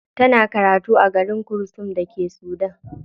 Tana karatu a garin khartoum da ke Sudan.